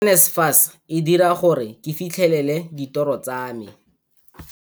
NSFAS e dira gore ke fitlhelele ditoro tsa me.